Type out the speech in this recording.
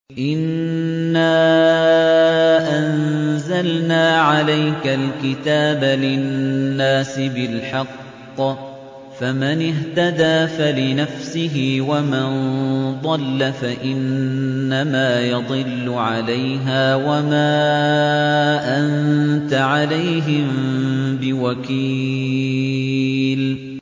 إِنَّا أَنزَلْنَا عَلَيْكَ الْكِتَابَ لِلنَّاسِ بِالْحَقِّ ۖ فَمَنِ اهْتَدَىٰ فَلِنَفْسِهِ ۖ وَمَن ضَلَّ فَإِنَّمَا يَضِلُّ عَلَيْهَا ۖ وَمَا أَنتَ عَلَيْهِم بِوَكِيلٍ